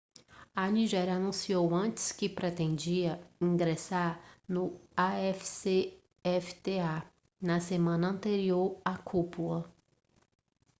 a nigéria anunciou antes que pretendia ingressar no afcfta na semana anterior à cúpula